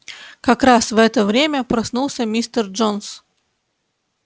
как раз в это время проснулся мистер джонс